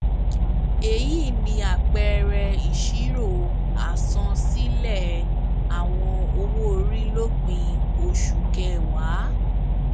èyí ni àpẹẹrẹ ìṣirò àsansílẹ àwọn owoori lópin oṣu kẹwàá